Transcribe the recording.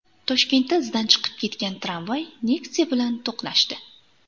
Toshkentda izdan chiqib ketgan tramvay Nexia bilan to‘qnashdi.